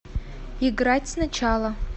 играть сначала